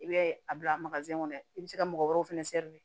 I bɛ a bila kɔnɔ i bɛ se ka mɔgɔ wɛrɛw fɛnɛ